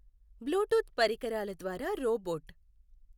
Bluetooth పరికరాల ద్వారా robot